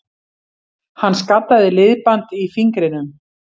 Hann skaddaði liðband í fingrinum